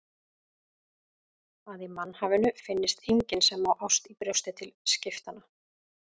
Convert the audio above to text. Að í mannhafinu finnist enginn sem á ást í brjósti til skiptanna.